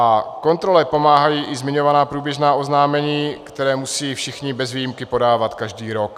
A kontrole pomáhají i zmiňovaná průběžná oznámení, která musí všichni bez výjimky podávat každý rok.